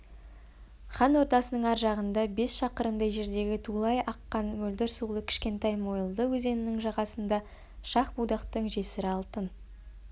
хан ордасының ар жағында бес шақырымдай жердегі тулай аққан мөлдір сулы кішкентай мойылды өзенінің жағасында шах-будақтың жесірі алтын